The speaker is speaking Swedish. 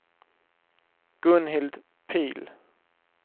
Gunhild Pihl